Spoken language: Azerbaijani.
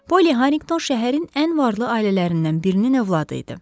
Polly Harrington şəhərin ən varlı ailələrindən birinin övladı idi.